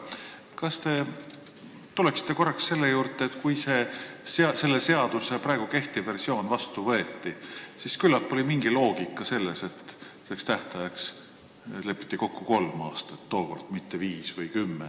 Aga tuleme korraks selle juurde, et kui kõnealuse seaduse praegu kehtiv versioon vastu võeti, siis küllap oli mingi loogika selles, et tähtajana lepiti kokku kolm aastat, mitte viis või kümme.